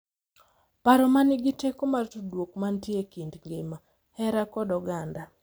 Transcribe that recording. Paro ma nigi teko mar tudruok mantie e kind ngima, hera, kod oganda.